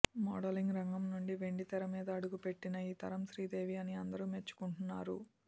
modelling రంగం నుంచి వెండితెర మీద అడుగుపెట్టిన ఈ తరం శ్రీదేవి అని అందరూ మెచ్చేసుకుంటున్నారు